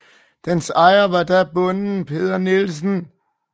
Dens ejer var da bonden Peder Nielsen